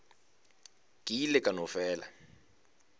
ke ile ka no fela